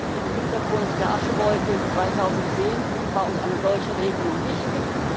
Vor dem Hintergrund der Aschewolke 2010 war uns eine solche Regelung wichtig.